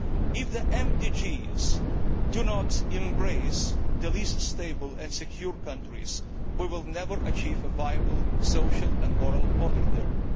If the MDGs do not embrace the least stable and least secure countries, we will never achieve a viable, social and moral order there.